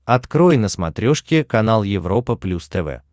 открой на смотрешке канал европа плюс тв